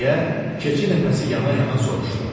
Deyə keçi nəfəsi yana-yana soruşdu.